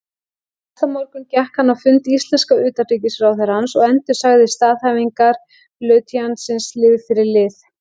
Næsta morgun gekk hann á fund íslenska utanríkisráðherrans og endursagði staðhæfingar lautinantsins lið fyrir lið.